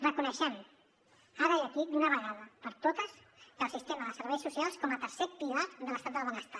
reconeixem ara i aquí d’una vegada per totes el sistema de serveis socials com a tercer pilar de l’estat del benestar